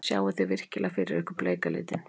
Sjáið þið virkilega fyrir ykkur bleika litinn?